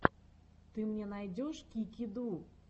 ты мне найдешь кики ду